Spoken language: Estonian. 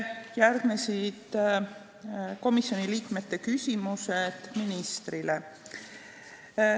Järgnesid komisjoni liikmete küsimused ministrile.